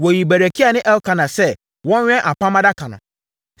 Wɔyii Berekia ne Elkana sɛ wɔnwɛn Apam Adaka no.